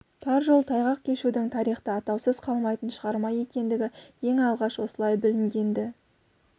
тар жол тайғақ кешудің тарихта атаусыз қалмайтын шығарма екендігі ең алғаш осылай білінген-ді